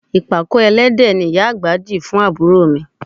Ìpàkọ́ ẹlẹ́dẹ̀ ni ìyá àgbà di fún àbúrò mi